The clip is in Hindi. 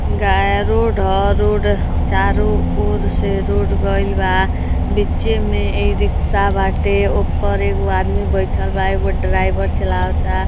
गा रोड ह रोड चारो और से रोड गईल बा बीचे में ई-रिक्शा बाटे उपर एगो आदमी बईठल बा। एगो ड्राइवर चलावता।